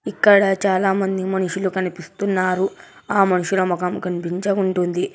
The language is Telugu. ఇక్కడ చాలామంది మనుషులు కనిపిస్తున్నారు ఆ మనుషుల ముఖం కనిపించవుంటుంది.